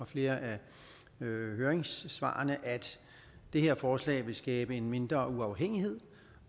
flere af høringssvarene at det her forslag vil skabe mindre uafhængighed